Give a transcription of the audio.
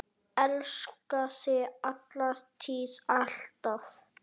Elska þig, alla tíð, alltaf.